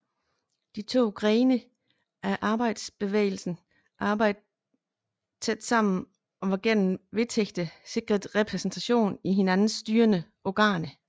De to grene af arbejderbevægelsen arbejdede dog tæt sammen og var gennem vedtægterne sikret repræsentation i hinandens styrende organer